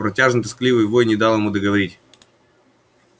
протяжный тоскливый вой не дал ему договорить